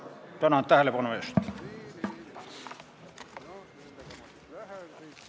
Tänan tähelepanu eest!